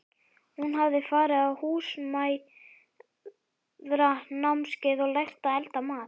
Hún hafði farið á Húsmæðranámskeið og lært að elda mat.